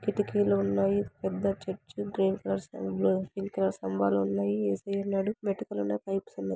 కిటికీలున్నాయి. పెద్ద చర్చ్ స్తంబాలు ఉన్నాయి. ఏసయ్య ఉన్నాడు. ఉన్నాయి.